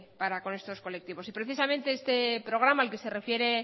para con estos colectivos y precisamente este programa al que se refiere